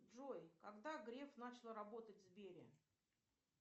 джой когда греф начал работать в сбере